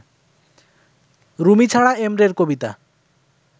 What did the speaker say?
রুমি ছাড়া এমরের কবিতা